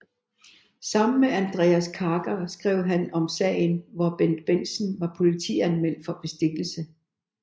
Sammen med Andreas Karker skrev han om sagen hvor Bendt Bendtsen var politianmeldt for bestikkelse